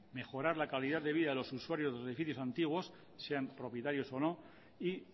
mejorar la calidad de vida de los usuarios de los edificios antiguos sean propietarios o no y